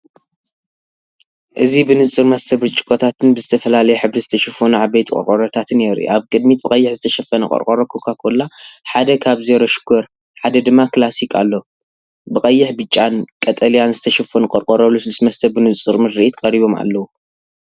እዚ ብንጹር መስተ ብርጭቆታትን ብዝተፈላለየ ሕብሪ ዝተሸፈኑ ዓበይቲ ቆርቆሮታት የርኢ። ኣብ ቅድሚት ብቐይሕ ዝተሸፈነ ቆርቆሮ ኮካ-ኮላ፡ ሓደ ካብ "ዜሮ ሽኮር" ሓደ ድማ "ክላሲክ" ኣሎ።"ብቀይሕ፡ ብጫን ቀጠልያን ዝተሸፈኑ ቆርቆሮ ልስሉስ መስተ ብንጹር ምርኢት ቀሪቦም ኣለው።